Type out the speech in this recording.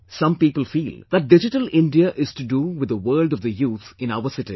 Some people feel that Digital India is to do with the world of the youth in our cities